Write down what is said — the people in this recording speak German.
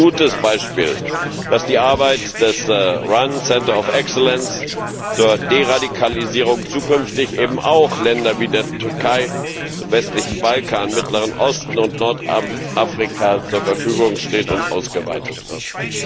Es ist ein gutes Beispiel, dass die Arbeit des RAN Exzellenzzentrums zur Deradikalisierung zukünftig eben auch Ländern wie der Türkei, dem westlichen Balkan, dem Mittleren Osten und Nordafrika zur Verfügung steht und ausgeweitet wird.